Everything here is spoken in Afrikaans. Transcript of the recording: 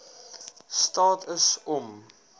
staat is om